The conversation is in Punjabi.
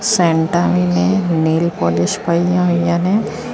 ਸੈਂਟਾਂ ਵੀ ਨੇ ਨੇਲ ਪੋਲਿਸ਼ ਪਈਆਂ ਹੋਈਆਂ ਨੇ।